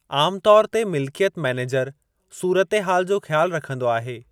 आम तौर ते, मिलिकियत मैनेजर सूरतहाल जो ख़्यालु रखंदो आहे।